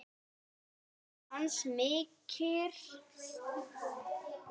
Hans missir er mikill.